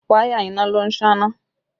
Wáyà iná ló ń sáná